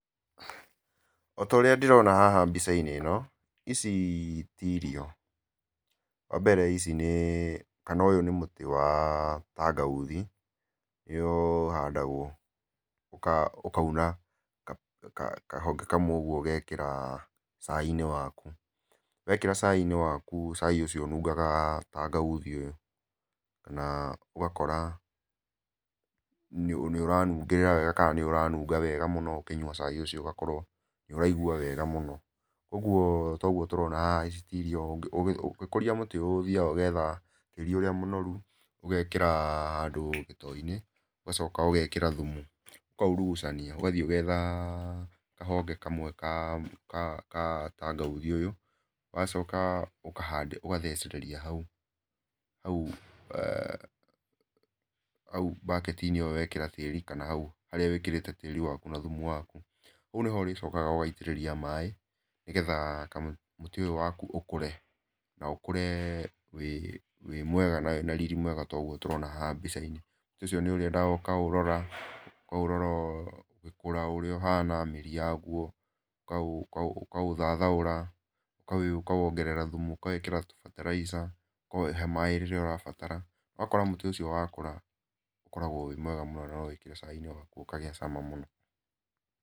Ota ũrĩa ndĩroha haha mbica-inĩ ĩno, ici ti irio. Wa mbere ici nĩ, kana ũyũ nĩ mũtĩ wa kangauthi, ũrĩa ũhandagwo ũkauna kahonge kamwe ũguo ũgekĩra cai-inĩ waku. Wekĩra cai-inĩ waku cai ũcio ũnungaga kangauthi ũyũ, kana ũgakora nĩũranungĩrĩra wega kana nĩũranunga wega mũno ũkĩnyua cai ũcio ũgakorwo nĩũraigua wega mũno. Ũguo ta ũguo tũrona haha ici ti irio. Ũgĩkũria mũtĩ ũyũ ũthiaga ũgetha tĩri ũrĩa mũnoru, ũgekĩra handũ gĩtoo-inĩ, ũgacoka ũgekĩra thumu, ũkaurugucania. Ũgathiĩ ũgetha kahonge kamwe kaa ka ka kangauthi ũyũ, ũgacoka ũkahanda ũgathecereria hau, hau hau mbaketi-inĩ ĩyo wekĩra tĩri, kana hau harĩa wĩkĩrĩte tĩri waku na thumu waku. Hau nĩho ũrĩcokaga ũgaitĩrĩria maĩ, nĩgetha kamũtĩ, mũtĩ ũyũ waku ũkũre na ũkũre wĩ mwega na wĩna riri mwega ta ũguo tũrona haha mbica-inĩ. Mũtĩ ũcio nĩũrĩendaga ũkaũrora, ũkaũrora ũgĩkũra ũrĩa ũhana, mĩri yaguo, ũkaũthathaũra, ũkawongerera thumu, ũkawĩkĩra tũbataraica, ũkaũhe maĩ rĩrĩa ũrabatara. Ũgakora mũtĩ ũcio wakũra, ũkoragwo wĩ mwega mũno no wĩkĩre cai-inĩ ũkagĩa cama mũno.